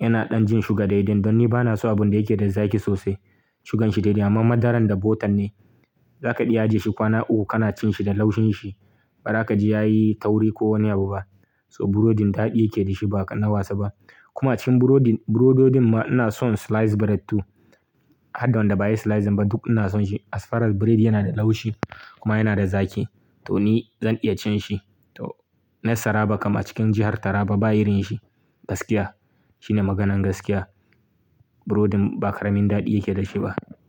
yana ɗan jin shuga daidai. Don ni bana so abun da yake da zaki sosai. Shugan shi daidai, amman madaran da butter ne. Za ka iya ajiye shi kwana uku kana cin shi da laushin shi. Ba ra ka ji yayi tauri ko wani abu ba. So burodin daɗi yake da shi ba ƙanna wasa ba. Kuma cikin burodin, burododin ma ina son sliced bread to. Haddan da ba a yi slicing ba duk ina son shi. As far as biredi yana da laushi kuma yana da zaki, to ni zan iya cin shi. To na Saraba kam a cikin jihar Taraba ba irin shi. Gaskiya. Shine maganan gaskiya. Burodin ba ƙaramin daɗi yake da shi ba.